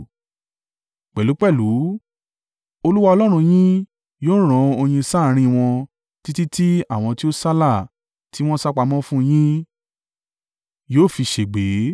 Pẹ̀lúpẹ̀lú, Olúwa Ọlọ́run yín yóò rán oyin sáàrín wọn títí tí àwọn tí ó sálà tí wọ́n sá pamọ́ fún un yín, yóò fi ṣègbé.